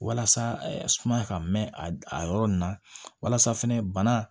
Walasa sumaya ka mɛn a yɔrɔ ninnu na walasa fɛnɛ bana